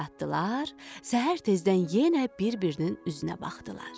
Gecə yatdılar, səhər tezdən yenə bir-birinin üzünə baxdılar.